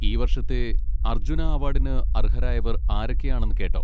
ഈ വർഷത്തെ അർജുന അവാർഡിന് അർഹരായവർ ആരൊക്കെയാണെന്ന് കേട്ടോ?